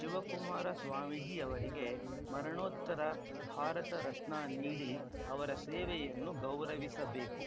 ಶಿವಕುಮಾರ ಸ್ವಾಮೀಜಿ ಅವರಿಗೆ ಮರಣೋತ್ತರ ಭಾರತ ರತ್ನ ನೀಡಿ ಅವರ ಸೇವೆಯನ್ನು ಗೌರವಿಸಬೇಕು